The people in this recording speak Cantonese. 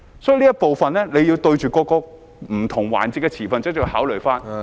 所以，這部分，政府要就着不同環節的持份者加以考慮......